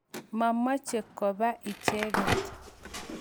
Ma moche kopa kaa icheket.